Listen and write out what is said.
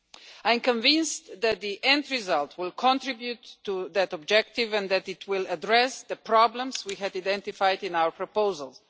I am convinced that the end result will contribute to that objective and that it will address the problems we had identified in our proposals.